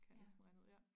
Kan jeg næsten regne ud ja